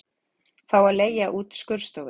Fá að leigja út skurðstofur